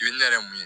ne yɛrɛ mun ye